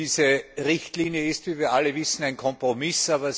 Diese Richtlinie ist, wie wir alle wissen, ein Kompromiss.